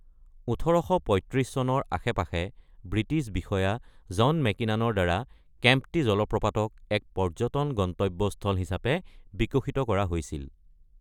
১৮৩৫ চনৰ আশে-পাশে ব্ৰিটিছ বিষয়া জন মেকিনানৰ দ্বাৰা কেম্প্টী জলপ্ৰপাতক এক পৰ্যটন গন্তব্য স্থল হিচাপে বিকশিত কৰা হৈছিল।